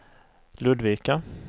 Ludvika